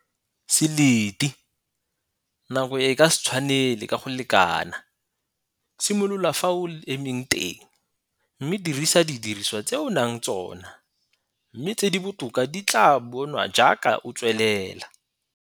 Se lete, nako e ka se tshwanele ka go lekana.. Simolola fa o emeng teng, mme dirisa didiriswa tse o nang tsona, mme tse di botoka di tlaa bonwa jaaka o tswelela.